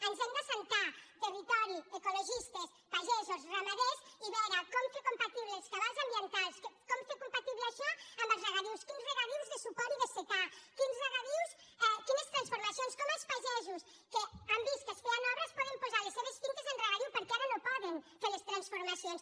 ens hem d’asseure territori ecologistes pagesos i ra·maders i veure com fer compatibles els cabals am·bientals com fer compatible això amb els regadius quins regadius de suport i de secà quines transfor·macions com els pagesos que han vist que es feien obres poden posar les seves finques en regadiu per·què ara no poden fer les transformacions